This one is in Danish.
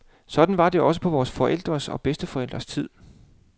Sådan var det også på vore forældres og bedsteforældres tid.